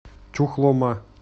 чухлома